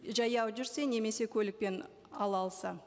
жаяу жүрсе немесе көлікпен ала алса